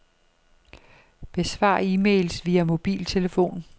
Besvar e-mails via mobiltelefon.